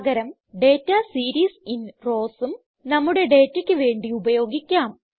പകരം data series in rowsഉം നമ്മുടെ ഡേറ്റയ്ക്ക് വേണ്ടി ഉപയോഗിക്കാം